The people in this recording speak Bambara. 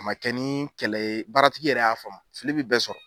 A ma kɛ ni kɛlɛ ye baaratigi yɛrɛ y'a faamu fili be bɛɛ sɔrɔ